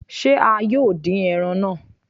Se a yóò dín ẹran náà?